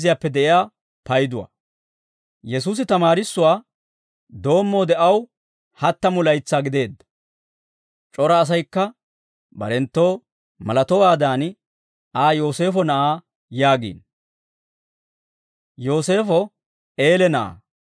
Yesuusi tamaarissuwaa doommoode aw hattamu laytsaa gideedda; c'ora asaykka barenttoo malatowaadan Aa Yooseefo na'aa yaagiino; Yooseefo Eele na'aa;